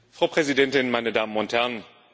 Frau Präsidentin, meine Damen und Herren!